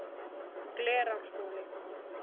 Glerárskóli